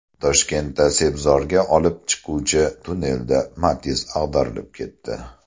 Toshkentda Sebzorga olib chiquvchi tunnelda Matiz ag‘darilib ketdi.